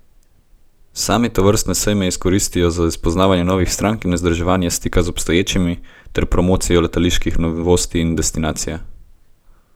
Sami tovrstne sejme izkoristijo za spoznavanje novih strank in vzdrževanje stika z obstoječimi ter promocijo letaliških novosti in destinacije.